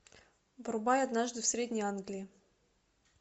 врубай однажды в средней англии